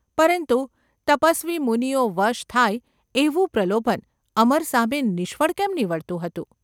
પરંતુ તપસ્વી મુનિઓ વશ થાય એવું પ્રલોભન અમર સામે નિષ્ફળ કેમ નીવડતું હતું ?